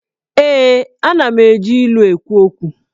Ee, Ana m eji ilu ekwu okwu